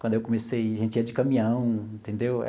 Quando eu comecei, a gente ia de caminhão, entendeu?